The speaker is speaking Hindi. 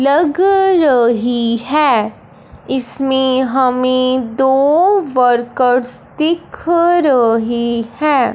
लग रही है इसमें हमें दो वर्कर्स दिख रहे हैं।